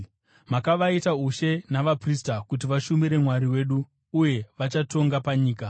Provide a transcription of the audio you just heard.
Makavaita ushe navaprista kuti vashumire Mwari wedu, uye vachatonga panyika.”